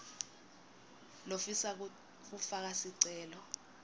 lofisa kufaka sicelo